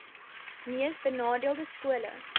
mees benadeelde skole